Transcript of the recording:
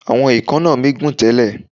Àwọn èékánná mi gùn tẹ́lẹ̀.